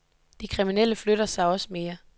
De kriminelle flytter sig også mere.